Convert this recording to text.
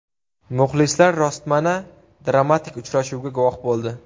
Muxlislar rostmana dramatik uchrashuvga guvoh bo‘ldi.